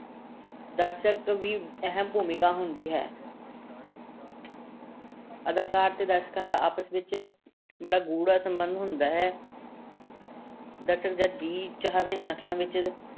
ਦਰਸ਼ਕਾਂ ਵੀ ਅਹਿਮ ਭੂਮਿਕਾ ਹੁੰਦੀ ਹੈ ਅਦਾਕਾਰ ਤੇ ਦਰਸ਼ਕਾਂ ਦਾ ਆਪਸ ਵਿੱਚ ਬੜਾ ਗੂੜਾ ਸੰਬੰਧ ਹੁੰਦਾ ਹੈ ਦਰਸ਼ਕ ਜਦ ਜੀਅ ਚਾਹਵੇ ਨਕਲਾਂ ਵਿੱਚ